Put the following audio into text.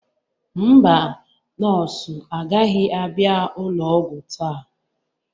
Mba, nọọsụ agaghị abịa ụlọ ọgwụ taa.